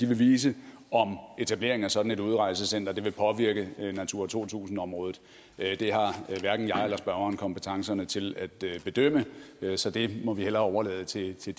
vise om etableringen af sådan et udrejsecenter vil påvirke natura to tusind området det har hverken jeg eller spørgeren kompetencerne til at bedømme så det må vi hellere overlade til til